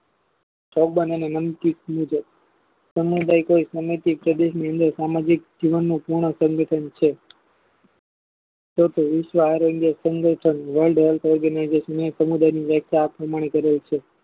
તાબાં અને લંકિત મુજબ સમુદાય સમસ્તી પદુનિલે સામાજિક જીવન ની તેનું સંગઠન છે તે તે વિશ્વ રોળાય સંગઠન સમુદાયની વ્યાખ્યા આ રીતે કરેલી છે